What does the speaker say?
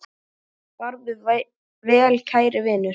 Farðu vel kæri vinur.